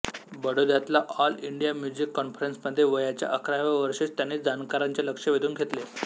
बडोद्यातल्या all India music कॉन्फरन्समध्ये वयाच्या अकराव्या वर्षीच त्यांनी जाणकारांचे लक्ष वेधून घेतले